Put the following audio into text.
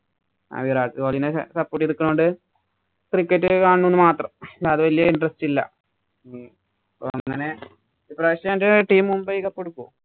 support ചെയ്തു നിക്കണോണ്ട് cricket കാണുന്നെന്ന് മാത്രം. അല്ലാതെ വല് interest ഇല്ല. അങ്ങനെ ഈപ്രാവശ്യം എന്‍റെ team മുംബൈ cup എടുക്കും.